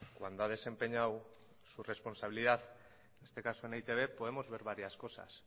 cuando ha desempeñado su responsabilidad en este caso en e i te be podemos ver varias cosas